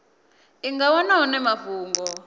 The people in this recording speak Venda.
i nga wana hone mafhungo